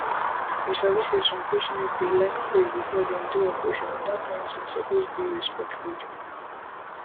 you sabi say some patients dey like pray before dem do operation and dat kind thing suppose dey respected